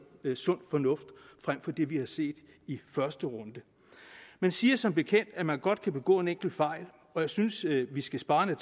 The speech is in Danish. om sund fornuft frem for det vi har set i første runde man siger som bekendt at man godt kan begå en enkelt fejl og jeg synes vi skal spare